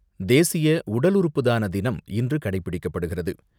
தேசிய உடல் உறுப்புதான தினம் இன்று கடைபிடிக்கப்படுகிறது.